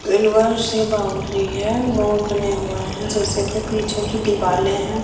Boundary हैं। Mall बने हुए है जैसे के पीछे जो दीवाले हैं--